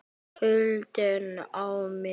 Rósa: Hvers vegna ekki?